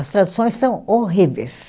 As traduções são horríveis.